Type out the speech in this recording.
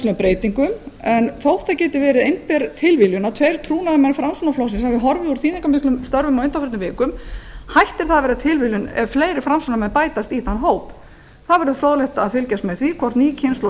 margvíslegum breytingum en þótt það geti verið einber tilviljun að tveir trúnaðarmenn framsóknarflokksins hafi horfið úr þýðingarmiklum störfum á undanförnum vikum hættir það að vera tilviljun ef fleiri framsóknarmenn bætast í þann hóp það verður fróðlegt að fylgjast með því hvort ný kynslóð